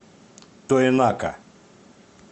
тоенака